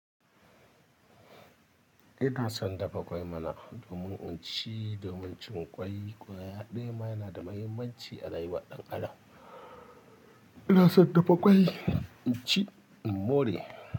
Ina son dafa ƙwai mana domin in ci domin cin ƙwai ƙwaya ɗaya ma yana da muhimmanci a rayuwar ɗan Adam. Ina son dafa ƙwai in ci in more.